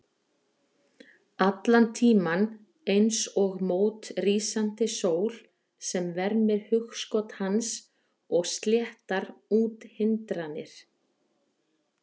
Allan tímann eins og mót rísandi sól sem vermir hugskot hans og sléttar út hindranir.